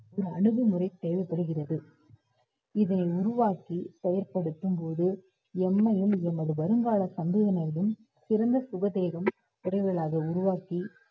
ஒரு அணுகுமுறை தேவைப்படுகிறது. இதை உருவாக்கி செயல்படுத்தும்போது, எம்மையும் எமது வருங்கால சந்ததியினரையும் சிறந்த சுகதேகம் விரைவில் அதை உருவாக்கி